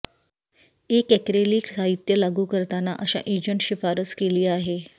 एक ऍक्रेलिक साहित्य लागू करताना अशा एजंट शिफारस केली आहे